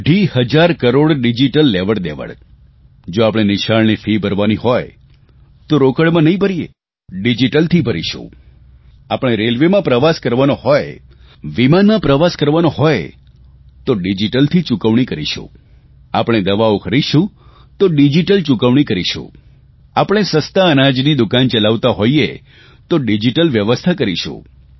અઢી હજાર કરોડ ડીજીટલ લેવડદેવડ જો આપણે નિશાળની ફી ભરવાની હોય તો રોકડમાં નહીં ભરીએ ડીજીટલથી ભરીશું આપણે રેલવેમાં પ્રવાસ કરવાનો હોય વિમાનમાં પ્રવાસ કરવાનો હોય તો ડીજીટલ ચૂકવણી કરીશું આપણે દવાઓ ખરીદશું તો ડીજીટલ ચૂકવણી કરીશું આપણે સસ્તા અનાજની દુકાન ચલાવતા હોઇએ તો ડીજીટલ વ્યવસ્થા કરીશું